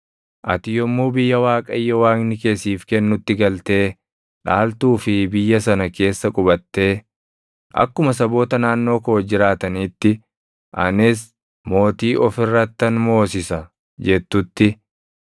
Ati yommuu biyya Waaqayyo Waaqni kee siif kennutti galtee dhaaltuu fi biyya sana keessa qubattee, “Akkuma saboota naannoo koo jiraataniitti anis mootii of irrattan moosisa” jettutti,